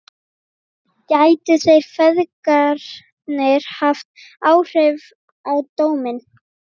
Gætu þeir feðgarnir haft áhrif á dóminn?